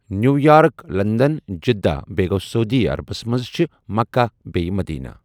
New York London Jeddah بیٚیہِ گوٚو سعودی عربَس منٛز چھِ مَکّہ بیٚیہِ مٔدیٖنہ۔